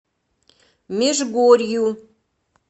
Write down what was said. межгорью